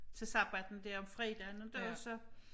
Til sabbatten der om fredagen inte og så